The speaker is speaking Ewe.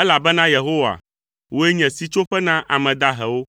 elabena Yehowa, wòe nye sitsoƒe na ame dahewo,